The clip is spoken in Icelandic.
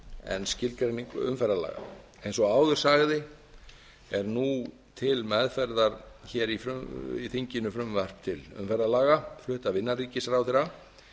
en skilgreining umferðarlaga eins og áður sagði er til meðferðar í þinginu frumvarp til umferðarvalda hluti af innanríkisráðherra